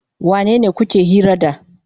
Wanene kuke hira da?